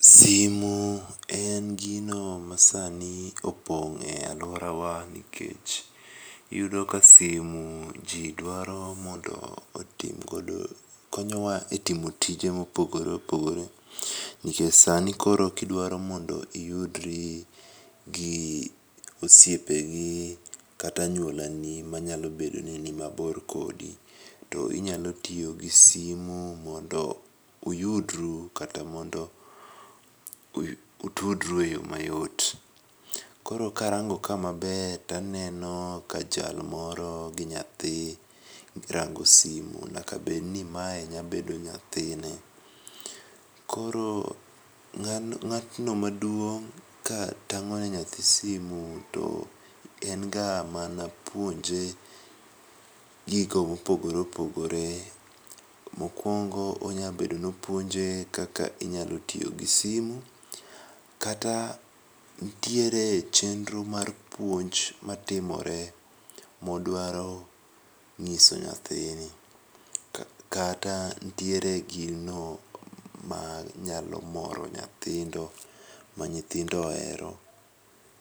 simu en gino masani opong' e alworawa nikech iyudo ka simu ji dwaro mondo otim godo, konyowa e timo tije mopogore opogore, nikech sani koro kidwaro mondo iyudri gi osiepegi, kata anyuolani manyalo bedo ni nimabor kodi, to inyalo tiyo gi simu mondo utudru e yo mayot. Koro karango ka maber to aneno ka jal moro gi nyathi, girango simu nyaka bedni mae nyabedo nyathine. Koro ng'atno maduong' ka tang'one nyathi simu to en ga mana puonje gigo mopogore opogore. Mokwongo, onyabedo ni opuonje kaka inyalo tiyo gi simu kata nitiere chenro mar puonj matimore modwaro ng'iso nyathini, kata nitiere gino ma nyalo moro nyithindo ma nyithindo ohero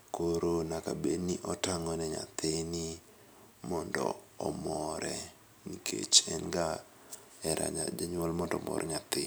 koro nyaka bedni otang'o ni nyathini mondo ohere nikech en ga hera janyuol mondo omor nyathi.